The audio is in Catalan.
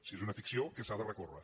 si és una ficció què s’ha de recórrer